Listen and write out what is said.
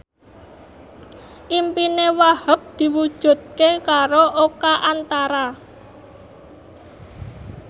impine Wahhab diwujudke karo Oka Antara